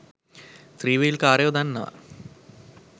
ත්‍රීවීල්කාරයෝ දන්නවා